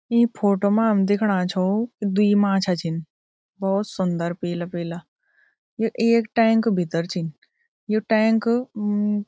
ईं फोटो मा हम दिखणा छउ द्वि माछा छिन भोत सुन्दर पीला-पीला यु एक टैंक भितर छिन यु टैंक म-म --